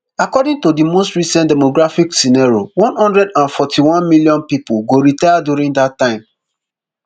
according to di most recent demographic scenario one hundred and forty-one million pipo go retire during dat time